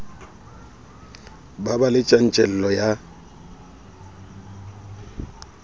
ba be le tjantjello ya